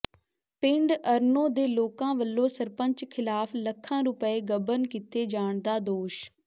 ਪਿੰਡ ਅਰਨੋਂ ਦੇ ਲੋਕਾਂ ਵੱਲੋਂ ਸਰਪੰਚ ਿਖ਼ਲਾਫ਼ ਲੱਖਾਂ ਰੁਪਏ ਗਬਨ ਕੀਤੇ ਜਾਣ ਦਾ ਦੋਸ਼